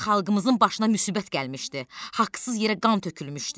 Xalqımızın başına müsibət gəlmişdi, haqsız yerə qan tökülmüşdü.